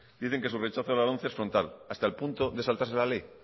dicen que su rechazo a la lomce en frontal hasta el punto de saltarse la ley